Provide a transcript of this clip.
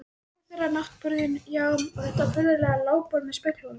Rúmið þeirra, náttborðin, já, og þetta furðulega lágborð með speglunum.